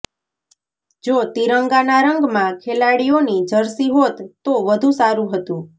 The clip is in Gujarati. જો તિરંગાના રંગમાં ખેલાડીઓની જર્સી હોત તો વધુ સારુ હતું